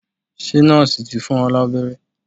Ṣe nọ́ọ̀sì ti fún ọ lábẹ́rẹ́?